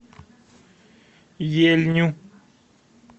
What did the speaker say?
ельню